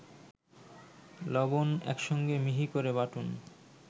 লবণ একসঙ্গে মিহি করে বাটুন